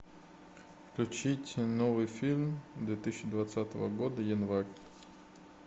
включить новый фильм две тысячи двадцатого года январь